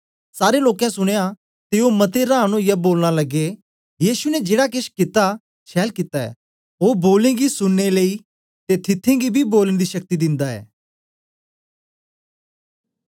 सारे लोकें सुनया ते ओ मते रांन ओईयै बोलन लगे यीशु ने जेड़ा केछ कित्ता छैल कित्ता ऐ ओ बोले गी सुनने लेई ते थिथें गी बी बोलन दी शक्ति दिंदा ऐ